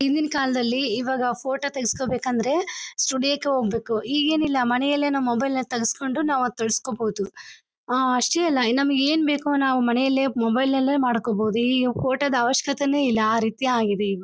ಹಿಂದಿನ ಕಾಲದಲ್ಲಿ ಈವಾಗ ಫೋಟೋ ತೆಗ್ಸ್ಕೊ ಬೇಕಂದ್ರೆ ಸ್ಟುಡಿಯೋಕ್ಕೆ ಹೋಗ್ಬೇಕು ಈಗೇನು ಇಲ್ಲ ಮನೇಲೆ ನಾವು ಮೊಬೈಲ್ ಅಲ್ಲಿ ತೇಗ್ಸ್ಕೊಂಡು ನಾವ ಅದನ್ನ ತೊಳಸ್ಕೊಬಹುದು ಅಷ್ಟೇ ಅಲ್ಲ ನಮಗೆ ಏನ್ ಬೇಕೋ ನಾವು ಮನೇಲೆ ಮೊಬೈಲ್ ನಲ್ಲೆ ಮಾಡ್ಕೋಬಹುದು ಈ ಫೋಟೋ ದ್ ಅವಶ್ಯಕತೇನೇ ಇಲ್ಲ ಆ ರೀತಿ ಆಗಿದೆ ಈಗ.